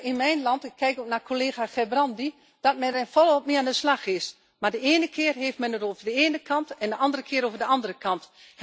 In mijn land ik kijk ook naar collega Gerbrandy is men er volop mee aan de slag. Maar de ene keer heeft men het over de ene kant en de andere keer over de andere kant.